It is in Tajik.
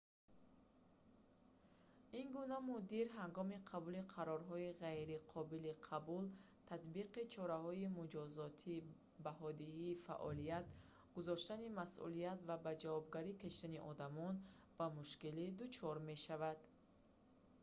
ин гуна мудир ҳангоми қабули қарорҳои ғайри қобили қабул татбиқи чораҳои муҷозотӣ баҳодиҳии фаъолият гузоштани масъулият ва ба ҷавобгарӣ кашидани одамон бо мушкилӣ дучор мешавад